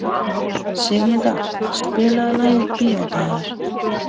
Sigurmunda, spilaðu lagið „Bíódagar“.